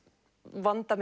vanda